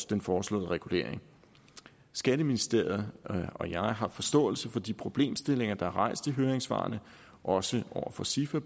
den foreslåede regulering skatteministeriet og jeg har forståelse for de problemstillinger der er rejst i høringssvarene også over for sifa